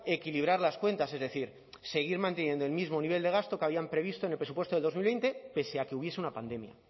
equilibrar las cuentas es decir seguir manteniendo el mismo nivel de gasto que habían previsto en el presupuesto de dos mil veinte pese a que hubiese una pandemia